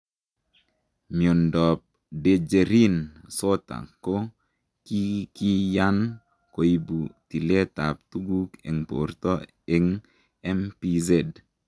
Miondoop dejerin sota ko kikiyaan koibuu tileet ap tuguk eng portoo eng MPZ,